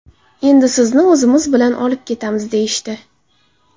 Endi sizni o‘zimiz bilan olib ketamiz”, deyishdi.